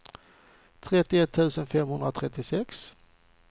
trettioett tusen femhundratrettiosex